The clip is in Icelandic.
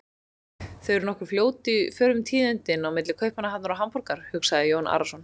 Þau eru nokkuð fljót í förum tíðindin á milli Kaupmannahafnar og Hamborgar, hugsaði Jón Arason.